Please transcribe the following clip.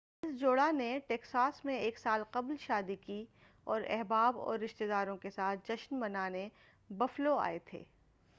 اس جوڑا نے ٹیکساس میں ایک سال قبل شادی کی اور احباب اور رشتے داروں کے ساتھ جشن منانے بفلو آئے تھے